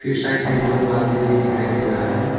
ये साइड में दो पॉलिथीन भी दिखाई दे रहा है।